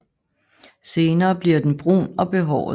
Senere blver den brun og behåret